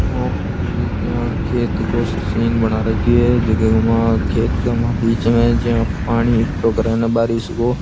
ओ कोई जियाँ खेत गो सो सीन बना राख्यो है जीके के मा खेत गै मा बिच मै जियाँ पानी इकट्ठो करे नै बारिश गो।